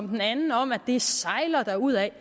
den anden om at det sejler derudad